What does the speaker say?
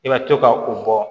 I ka to ka u bɔ